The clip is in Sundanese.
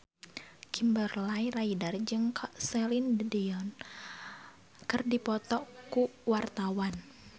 Kimberly Ryder jeung Celine Dion keur dipoto ku wartawan